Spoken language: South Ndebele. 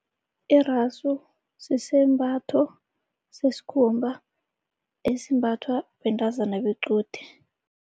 Iraso, sisembatho sesikhumba esimbathwa bentazana bequde.